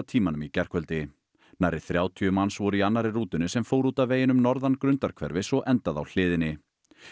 tímanum í gærkvöldi nærri þrjátíu voru í annarri rútunni sem fór út af veginum norðan Grundarhverfis og endaði á hliðinni